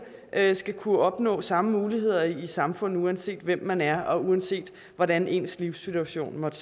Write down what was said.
at alle skal kunne opnå samme muligheder i samfundet uanset hvem man er og uanset hvordan ens livssituation måtte